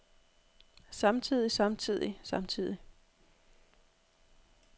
samtidig samtidig samtidig